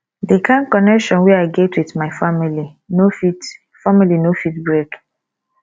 di kain connection wey i get wit my family no fit family no fit break